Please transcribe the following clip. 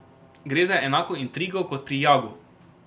Gre za enako intrigo kot pri Jagu.